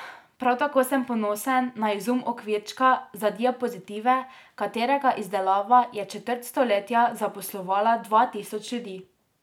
Prav tako sem ponosen na izum okvirčka za diapozitive, katerega izdelava je četrt stoletja zaposlovala dva tisoč ljudi.